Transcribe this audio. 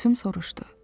Gülsüm soruşdu.